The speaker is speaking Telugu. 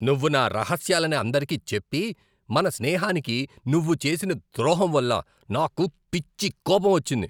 నువ్వు నా రహస్యాలని అందరికీ చెప్పి మన స్నేహానికి నువ్వు చేసిన ద్రోహం వల్ల నాకు పిచ్చి కోపం వచ్చింది.